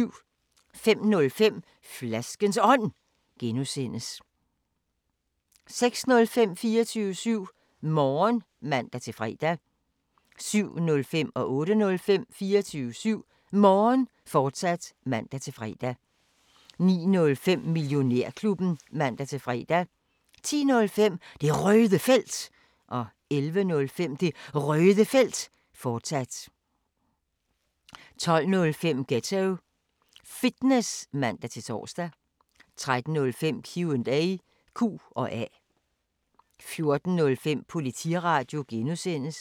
05:05: Flaskens Ånd (G) 06:05: 24syv Morgen (man-fre) 07:05: 24syv Morgen, fortsat (man-fre) 08:05: 24syv Morgen, fortsat (man-fre) 09:05: Millionærklubben (man-fre) 10:05: Det Røde Felt 11:05: Det Røde Felt, fortsat 12:05: Ghetto Fitness (man-tor) 13:05: Q&A 14:05: Politiradio (G)